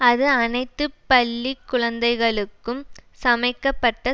அது அனைத்து பள்ளி குழந்தைகளுக்கும் சமைக்கப்பட்ட